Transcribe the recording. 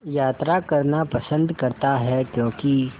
यात्रा करना पसंद करता है क्यों कि